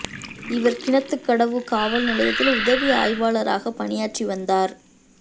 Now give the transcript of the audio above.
இவா் கிணத்துக்கடவு காவல் நிலையத்தில் உதவி ஆய்வாளராகப் பணியாற்றி வந்தாா்